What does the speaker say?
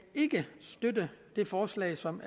støtte det forslag som